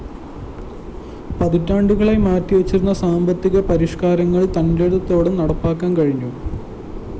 പതിറ്റാണ്ടുകളായി മാറ്റിവച്ചിരുന്ന സാമ്പത്തിക പരിഷ്‌കാരങ്ങള്‍ തന്‍േറടത്തോടെ നടപ്പാക്കാന്‍ കഴിഞ്ഞു